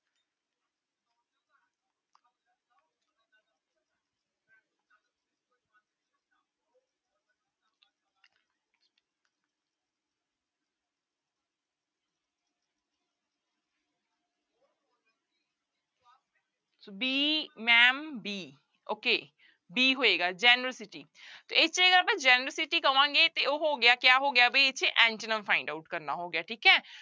b ma'am b okay b ਹੋਏਗਾ generosity generosity ਕਵਾਂਗੇ ਤੇ ਉਹ ਹੋ ਗਿਆ ਕਿਆ ਹੋ ਗਿਆ ਬਈ ਇੱਥੇ antonym find out ਕਰਨਾ ਹੋ ਗਿਆ ਠੀਕ ਹੈ